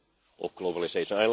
of globalisation.